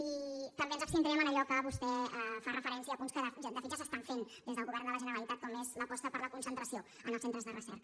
i també ens abstindrem en allò en què vostè fa referència a punts que de fet ja s’estan fent des del govern de la generalitat com és l’aposta per la concentració en els centres de recerca